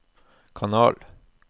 kanal